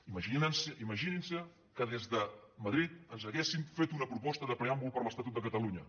imaginin·se que des de ma·drid ens haguessin fet una proposta de preàmbul per a l’estatut de catalunya